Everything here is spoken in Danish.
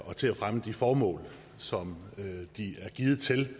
og til at fremme de formål som de er givet til